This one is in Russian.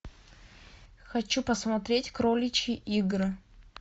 хочу посмотреть кроличьи игры